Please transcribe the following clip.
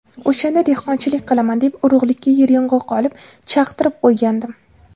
O‘shanda dehqonchilik qilaman deb urug‘likka yeryong‘oq olib, chaqtirib qo‘ygandim.